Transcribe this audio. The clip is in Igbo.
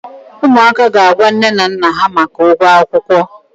ụmụaka ga-agwa nne na nna ha maka ụgwọ akwụkwọ.